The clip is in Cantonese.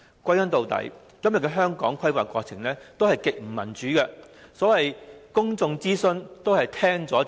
歸根究底，香港的規劃過程極不民主，所謂公眾諮詢都是聽了就算。